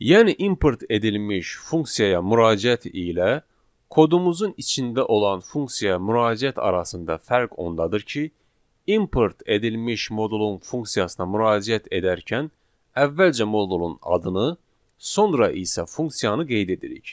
Yəni import edilmiş funksiyaya müraciət ilə kodumuzun içində olan funksiyaya müraciət arasında fərq ondadır ki, import edilmiş modulun funksiyasına müraciət edərkən əvvəlcə modulun adını, sonra isə funksiyanı qeyd edirik.